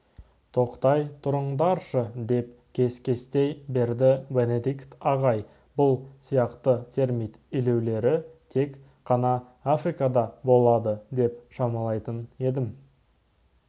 тоқтай тұрыңдаршы деп кес-кестей берді бенедикт ағай бұл сияқты термит илеулері тек қана африкада болады деп шамалайтын едім